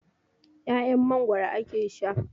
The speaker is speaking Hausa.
'Ya'yan Mangwaro ake sha.